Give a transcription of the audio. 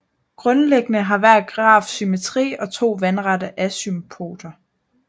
Grundlæggende har hver graf symmetri og to vandrette asymptoter